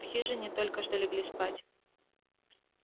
в хижине только что легли спать